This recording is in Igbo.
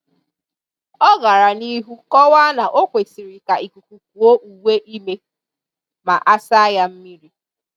Ọ gara n'ihu kọwaa na o kwesịrị ka ikuku kuo uwe ime ma a saa ya mmiri